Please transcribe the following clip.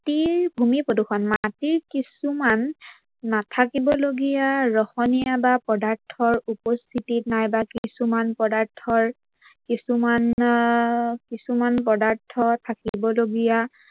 মাটিৰ ভূমি প্ৰদূৰ্ষন। মাটিৰ কিছুমান নাথাকিব লগিয়া ৰহনীয়া বা পদাৰ্থৰ উপস্থিতিত নাইবা কিছুমান পদাৰ্থ কিছুমান পদাৰ্থৰ থাকিব লগিয়া